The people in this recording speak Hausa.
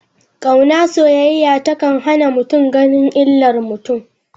Kauna/soyayya ta kan hana mutum ganin illar mutum.